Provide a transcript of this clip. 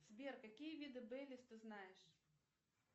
сбер какие виды бейлис ты знаешь